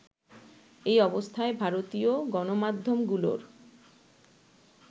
এই অবস্থায় ভারতীয় গণমাধ্যমগুলোর